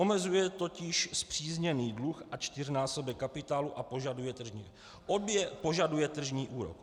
Omezuje totiž spřízněný dluh na čtyřnásobek kapitálu a požaduje tržní úrok.